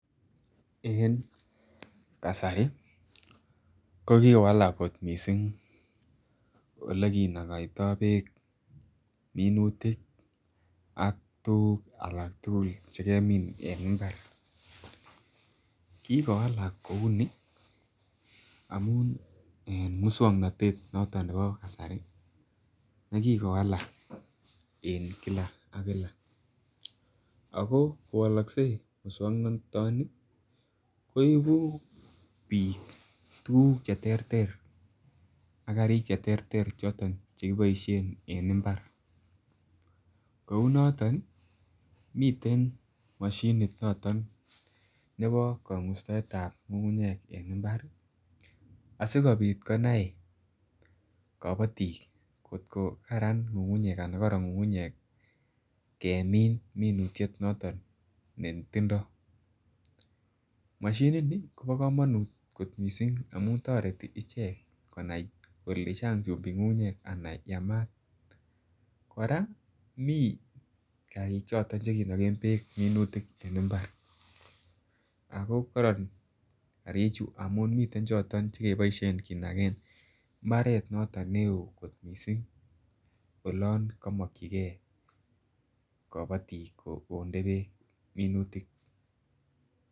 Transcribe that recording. En kasari ko kiwalak kot missing ole kinogoito beek minutik ak tuguk alak tugul che kemin en imbar. Kigowalak kouu ni amun en muswognot noton nebo kasari me kigowalak en Kila ak Kila ako kowolokse muswognotoni ko ibuu biik tuguk che terter ak karik che terter choton che kiboishen en imbar kouu noton miten moshinit noton nebo kogustoetab ngungunyek en imbar ii asikopit konai kobotik kot ko Karan ana koron ngungunyek kemin minutiet noton netindo. Moshini nii Kobo komonut kot missing amun toreti ichek konai kole Chang chumbik ngungunyek ana yamat. Koraa mii karik choton che kinogen beek minutik en imbar ako koron karichu amun miten choton che kiboishen kinagen imbaret noton ne oo kot missing olon komokyigee kobotik konde beek minutik